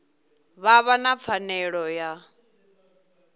vha vha na pfanelo ya